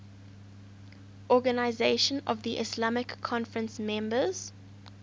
organisation of the islamic conference members